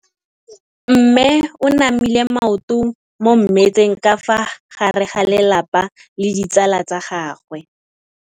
Mme o namile maoto mo mmetseng ka fa gare ga lelapa le ditsala tsa gagwe.